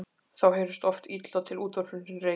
Þá heyrðist oft illa til útvarpsins í Reykjavík.